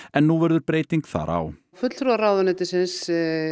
en nú verður breyting þar á fulltrúar ráðuneytisins